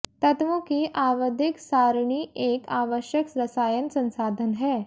तत्वों की आवधिक सारणी एक आवश्यक रसायन संसाधन है